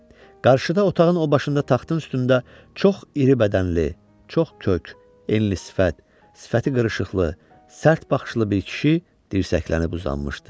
Qarşıda otağın o başında taxtın üstündə çox iri bədənli, çox kök, enli sifət, sifəti qırışıqlı, sərt baxışlı bir kişi dirsəklənib uzanmışdı.